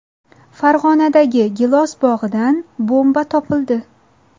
Farg‘onadagi gilos bog‘idan bomba topildi.